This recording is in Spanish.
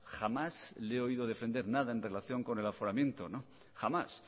jamás le he oído defender nada en relación con el aforamiento jamás